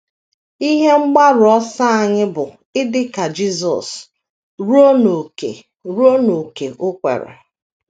Ihe mgbaru ọsọ anyị bụ idi ka Jisọs ruo n’ókè ruo n’ókè o kwere.